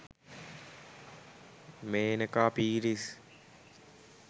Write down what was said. menaka peiris